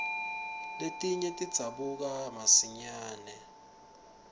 letinye tidzabuka masinyare